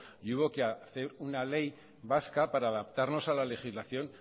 y hubo que hacer una ley vasca para adaptarnos a la legislación